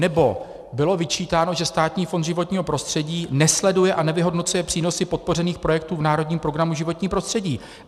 Nebo bylo vyčítáno, že Státní fond životního prostředí nesleduje a nevyhodnocuje přínosy podpořených projektů v národním projektu životní prostředí.